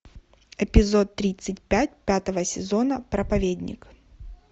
эпизод тридцать пять пятого сезона проповедник